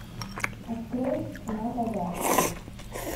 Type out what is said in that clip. открой цена богатства